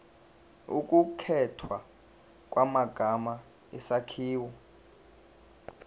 ukukhethwa kwamagama isakhiwo